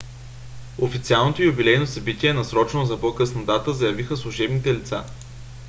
официалното юбилейно събитие е насрочено за по-късна дата заявиха служебните лица